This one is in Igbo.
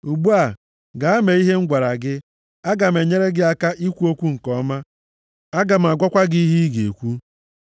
Ugbu a, gaa mee ihe m gwara gị. Aga m enyere gị aka ikwu okwu nke ọma. Aga m agwakwa gị ihe ị ga-ekwu.”